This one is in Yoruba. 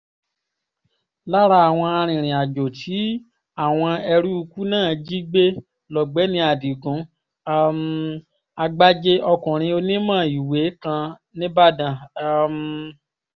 lára àwọn arìnrìn-àjò tí àwọn eruùkù náà jí gbé lọ́gbẹ́ni adigun um àgbájé ọkùnrin onímọ̀ ìwé kan nìbàdàn um